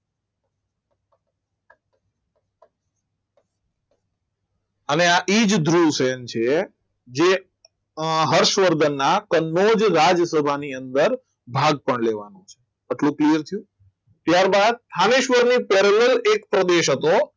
અને આ એ જ ધ્રુવસેન છે જે આ હર્ષવર્ધનના કનોજ જ રાજસભાની અંદર ભાર પણ લેવાનો છે આટલું clear છે ત્યારબાદ રામેશ્વર ની પહેલા એક પ્રદેશ હતો